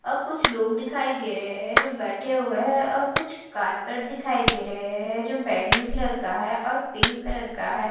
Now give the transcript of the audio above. अब कुछ लोग दिखाई दे रहे हैं जो बैठे हुए हैं और कुछ कारपेट दिखाई दे रहे हैं जो बैंगनी कलर का हैं और पिंक कलर का हैं --